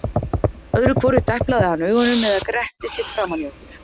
Öðru hvoru deplaði hann augunum eða gretti sig framan í okkur.